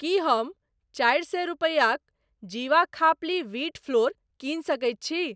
की हम चारि सए रूपैयाक जीवा खापली व्हीट फ्लोर किनी सकैत छी?